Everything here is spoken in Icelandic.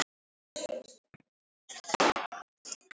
Torbjörg, kanntu að spila lagið „Augun þín blá“?